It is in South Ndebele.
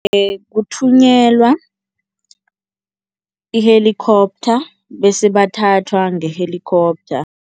Kuthunyelwa i-helicopter bese bathathwa nge-helicopter.